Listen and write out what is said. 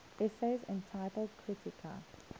essays entitled kritika